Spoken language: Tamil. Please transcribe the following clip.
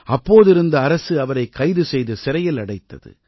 அப்போதிருந்த அரசு அவரை கைது செய்து சிறையில் அடைத்தது